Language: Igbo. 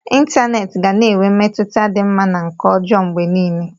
Ịntanetị ga na-enwe mmetụta dị mma na nke ọjọọ mgbe niile